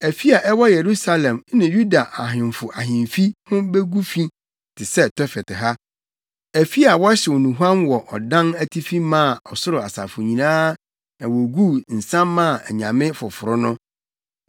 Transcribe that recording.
Afi a ɛwɔ Yerusalem ne Yuda ahemfo ahemfi ho begu fi te sɛ Tofet ha. Afi a wɔhyew nnuhuam wɔ adan atifi maa ɔsoro asafo nyinaa na woguu nsa maa anyame foforo no.’ ”